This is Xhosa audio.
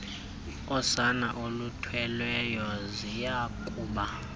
osana oluthweleyo ziyakuba